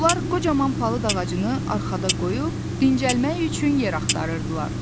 Onlar qocaman palıd ağacını arxada qoyub dincəlmək üçün yer axtarırdılar.